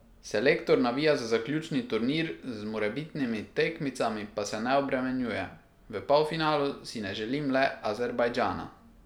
Selektor navija za zaključni turnir, z morebitnimi tekmicami pa se ne obremenjuje: "V polfinalu si ne želim le Azerbajdžana.